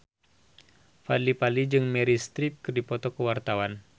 Fadly Padi jeung Meryl Streep keur dipoto ku wartawan